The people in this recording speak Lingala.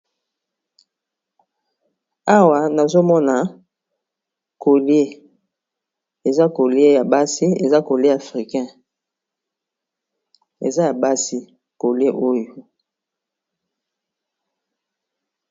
Awa nazomona collier eza colier ya basi eza collier africain eza ya basi collier oyo.